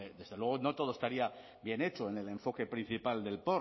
desde luego no todo estaría bien hecho en el enfoque principal del